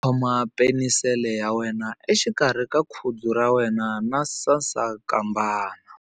Khoma penisele ya wena exikarhi ka khudzu ra wena na sasankambana.